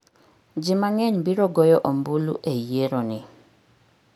Ji mang'eny biro goyo ombulu e yieroni.